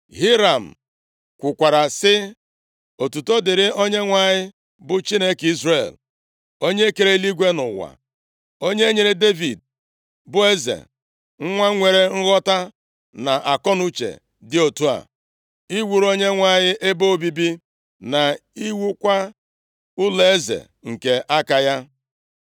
Hiram kwukwara sị, “Otuto dịrị Onyenwe anyị, bụ Chineke Izrel. Onye kere eluigwe na ụwa. Onye nyere Devid, bụ eze, nwa nwere nghọta na akọnuche dị otu a, iwuru Onyenwe anyị ebe obibi, na iwukwa ụlọeze nke aka ya.